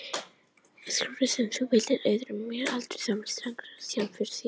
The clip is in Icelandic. Skaðinn sem þú veldur öðrum má aldrei vera takmark í sjálfu sér.